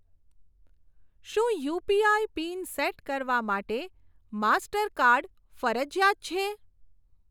શું UPI PIN set કરવા માટે માસ્ટરકાર્ડ ફરજીયાત છે?